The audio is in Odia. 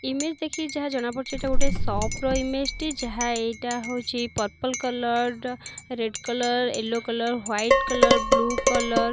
ଇମେଜ ଦେଖିକି ଯାହା ଜଣା ପଡୁଚି ଏଇଟା ଗୋଟେ ସପ ର ଇମେଜ ଟି ଯାହା ଏଇଟା ହେଉଚି purple colour red colour yellow colour white colour blue colour.